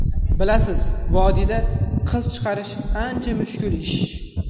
Bilasiz, vodiyda qiz chiqarish ancha mushkul ish.